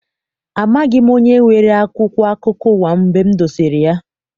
Amaghị m onye weere akwụkwọ akụkọ ụwa m dosere ya.